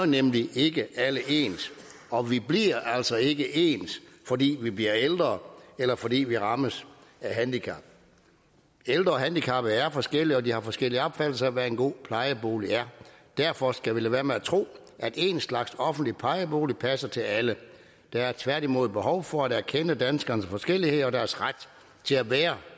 nemlig ikke alle ens og vi bliver altså ikke ens fordi vi bliver ældre eller fordi vi rammes af handicap ældre og handicappede er jo forskellige og de har forskellige opfattelser af hvad en god plejebolig er derfor skal vi lade være med at tro at én slags offentlig plejebolig passer til alle der er tværtimod behov for at erkende danskernes forskellighed og deres ret til at være